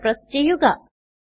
Enter press ചെയ്യുക